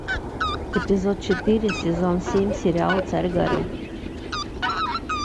эпизод четыре сезон семь сериал царь горы